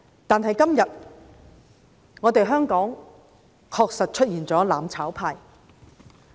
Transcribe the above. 但是今天，香港確實出現了"攬炒派"。